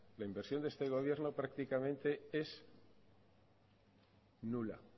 la inversión de este gobierno prácticamente es nula